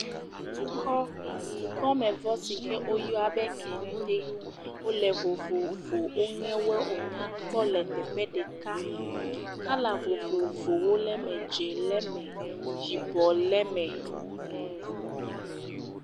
Dukɔ dukɔmevɔ si ke woyɔa be kete wole vovovo wonye wo wonya kpɔ le teƒe ɖeka. Kɔla vovovowo le eme. Dzi le eme, yibɔ le eme.